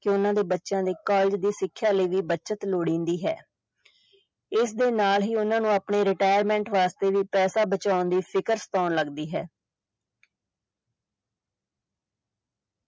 ਕਿ ਉਹਨਾਂ ਦੇ ਬੱਚਿਆਂ ਦੇ college ਦੀ ਸਿੱਖਿਆ ਲਈ ਵੀ ਬੱਚਤ ਲੋੜੀਂਦੀ ਹੈ ਇਸਦੇ ਨਾਲ ਹੀ ਉਹਨਾਂ ਨੂੰ ਆਪਣੇ retirement ਵਾਸਤੇ ਵੀ ਪੈਸਾ ਬਚਾਉਣ ਦੀ ਫ਼ਿਕਰ ਸਤਾਉਣ ਲੱਗਦੀ ਹੈ।